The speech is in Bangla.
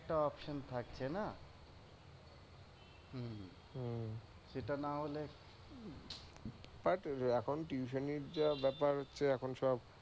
একটা option থাকছে না। এটা না হলে but এখন tutiony যা ব্যাপার হচ্ছে এখন সব